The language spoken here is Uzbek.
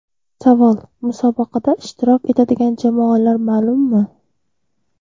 Savol: Musobaqada ishtirok etadigan jamoalar ma’lummi?